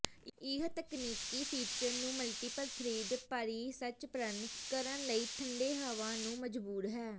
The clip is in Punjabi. ਇਹ ਤਕਨੀਕੀ ਫੀਚਰ ਨੂੰ ਮਲਟੀਪਲ ਥਰਿੱਡ ਪਰਿਸੰਚਰਣ ਕਰਨ ਲਈ ਠੰਡੇ ਹਵਾ ਨੂੰ ਮਜਬੂਰ ਹੈ